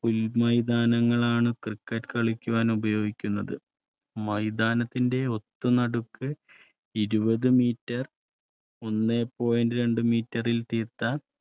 പുൽ മൈതാനങ്ങൾ ആണ് cricket കളിക്കാൻ ഉപയോഗിക്കുന്നത് മൈതാനത്തിന്റെ ഒത്ത നടുക്ക്ഇരുപത് മീറ്റർഒന്നേ പോയിന്റ് രണ്ട് മീറ്ററിൽ തീർത്ത